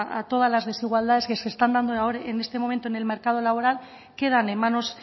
a todas las desigualdades que se están dando ahora en este momento en el mercado laboral quedan en manos